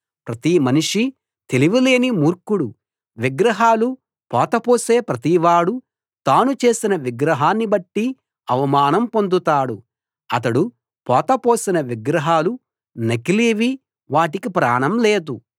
ప్రతి మనిషీ తెలివిలేని మూర్ఖుడు విగ్రహాలు పోతపోసే ప్రతివాడూ తాను చేసిన విగ్రహాన్నిబట్టి అవమానం పొందుతాడు అతడు పోత పోసిన విగ్రహాలు నకిలీవి వాటికి ప్రాణం లేదు